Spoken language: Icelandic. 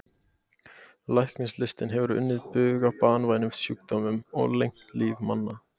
Læknislistin hefur unnið bug á banvænum sjúkdómum og lengt líf manna.